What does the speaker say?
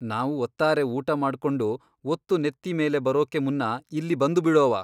ನಾವು ಒತ್ತಾರೆ ಊಟ ಮಾಡ್ಕೊಂಡು ಒತ್ತು ನೆತ್ತಿ ಮೇಲೆ ಬರೋಕೆ ಮುನ್ನ ಇಲ್ಲಿ ಬಂದು ಬಿಡೋವಾ.